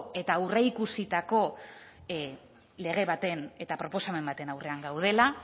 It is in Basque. eta aurreikusitako lege baten eta proposamen baten aurrean gaudela